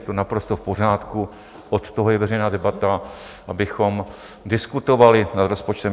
Je to naprosto v pořádku, od toho je veřejná debata, abychom diskutovali nad rozpočtem.